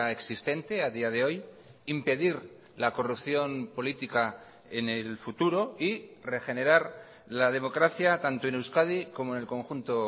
existente a día de hoy impedir la corrupción política en el futuro y regenerar la democracia tanto en euskadi como en el conjunto